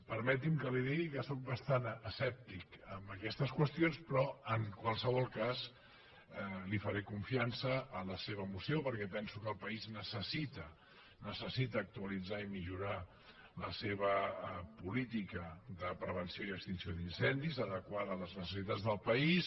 permeti’m que li digui que sóc bastant escèptic en aquestes qüestions però en qualsevol cas li faré confiança en la seva moció perquè penso que el país necessita actualitzar i millorar la seva política de prevenció i extinció d’incendis adequada a les necessitats del país